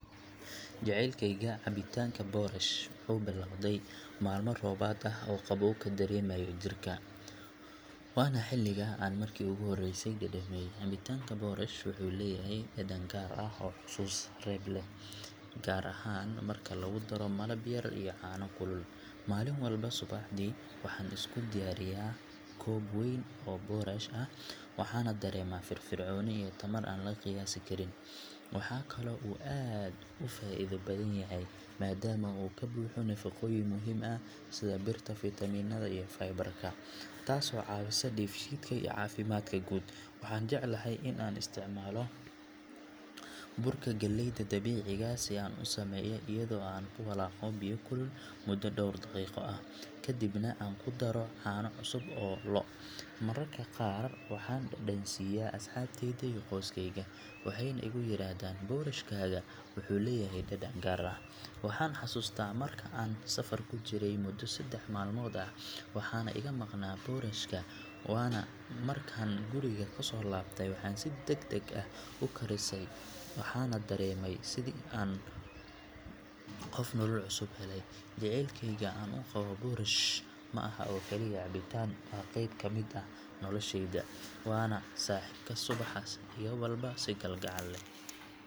Jaceylkeyga cabitaanka boorash wuxuu bilowday maalmo roobaad ah oo qaboowga dareemayo jirka, waana xilliga aan markii ugu horeysay dhadhamiyay. Cabitaanka boorash wuxuu leeyahay dhadhan gaar ah oo xasuus reeb leh, gaar ahaan marka lagu daro malab yar iyo caano kulul. Maalin walba subaxdii, waxaan isku diyaariyaa koob weyn oo boorash ah, waxaana dareemaa firfircooni iyo tamar aan la qiyaasi karin. Waxaa kaloo uu aad u faa’iido badan yahay, maadaama uu ka buuxo nafaqooyin muhiim ah sida birta, fiitamiinada iyo fiber-ka, taasoo caawisa dheefshiidka iyo caafimaadka guud. Waxaan jeclahay in aan isticmaalo burka galleyda dabiiciga ah si aan u sameeyo, iyadoo aan ku walaaqo biyo kulul muddo dhowr daqiiqo ah, kadibna aan ku daro caano cusub oo lo’. Mararka qaar waxaan dhadhansiyaa asxaabteyda iyo qoyskeyga, waxayna igu yiraahdaan “boorashkaaga wuxuu leeyahay dhadhan gaar ah.” Waxaan xasuustaa mar aan safar ku jiray muddo saddex maalmood ah, waxaana iga maqnaa boorash ka, markaan guriga kusoo laabtay waxaan si degdeg ah u karisay, waxaana dareemay sidii qof nolol cusub helay. Jaceylka aan u qabo boorash ma aha oo kaliya cabitaan, waa qeyb ka mid ah nolosheyda, waana saaxiibka subaxa iga bilaaba si kalgacal leh.